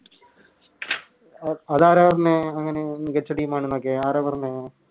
അഹ് അത് ആരാ പറഞ്ഞെ അങ്ങനെ മികച്ച Team ആണെന്നൊക്കെ ആരാ പറഞ്ഞെ